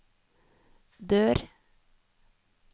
dør